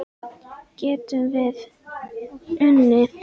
Getum við unnið?